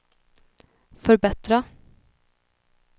förbättra